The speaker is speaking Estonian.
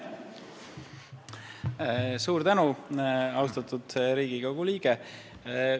Suur tänu, austatud Riigikogu liige!